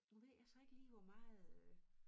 Nu ved jeg så ikke lige hvor meget øh